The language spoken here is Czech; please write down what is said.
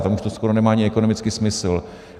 Tam už to skoro nemá ani ekonomický smysl.